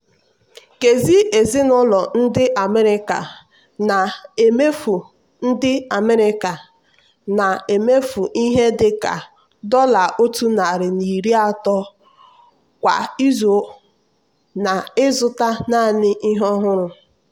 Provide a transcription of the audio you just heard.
nkezi ezinụlọ ndị america na-emefu ndị america na-emefu ihe dịka dollar otu nari na iri atọ kwa izu n'ịzụta naanị ihe ọhụrụ.